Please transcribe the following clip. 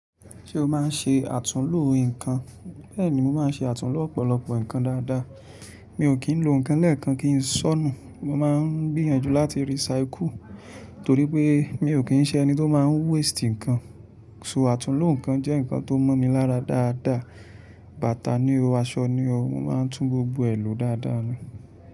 Ṣé o máa ń ṣe àtúnlùú nǹkan? Bẹ́ẹ̀ni, mo máa ń ṣe àtúnlùú ọ̀pọ̀lọpọ̀ nǹkan dáadáa. Mi ò kí ń lo nǹkan lẹ́ẹ̀kan kí ń ṣọ́nù. Mo máa ń gbìyànjú láti recycle torí pé mi ò kí ń ṣẹ́ ẹni tó máa ń waste nǹkan. So àtúnlùú nǹkan jẹ́ nǹkan tó mọ́ mi lára dáadáa. Bàtà ni o, aṣọ ni o, mo máa ń tún gbogbo ẹ̀ ló dáadáa ni.